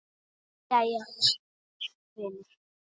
Jæja, vinur.